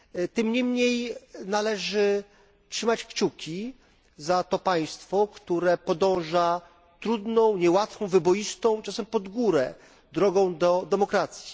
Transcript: Tym niemniej należy trzymać kciuki za to państwo, które podąża trudną, niełatwą, wyboistą, czasem pod górę, drogą do demokracji.